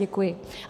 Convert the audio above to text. Děkuji.